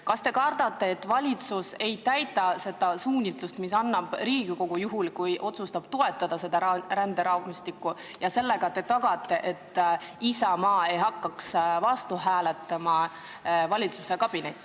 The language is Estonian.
Kas te kardate, et valitsus ei täida seda suunist, mille annab Riigikogu, juhul kui ta otsustab seda ränderaamistikku toetada, ja sellega te tagate, et Isamaa ei hakkaks valitsuskabinetis vastu hääletama?